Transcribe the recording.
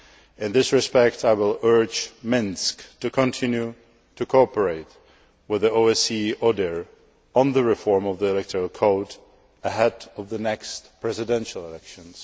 In this respect, I will urge Minsk to continue to cooperate with the OSCE order on the reform of the electoral code ahead of the next presidential elections.